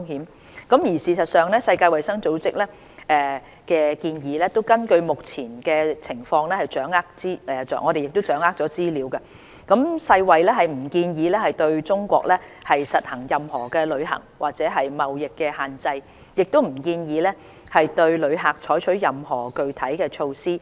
事實上，根據我們目前掌握的資料，世界衞生組織檢視目前情況後，並不建議對中國實行任何旅行或貿易限制，亦不建議對旅客採取任何具體措施。